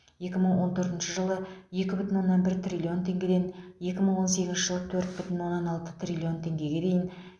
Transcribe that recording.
екі мың он төртінші жылы екі бүтін оннан бір триллион теңгеден екі мың он сегізінші жылы төрт бүтін оннан алты триллион теңгеге дейін